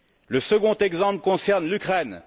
Le second exemple concerne l'Ukraine.